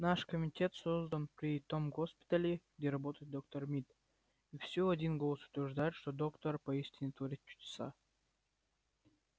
наш комитет создан при том госпитале где работает доктор мид и всё один голос утверждают что доктор поистине творит чудеса